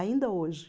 Ainda hoje.